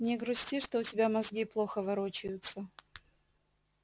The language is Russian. не грусти что у тебя мозги плохо ворочаются